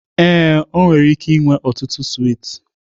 Ee, ọ nwere ike inwe ọtụtụ swiiti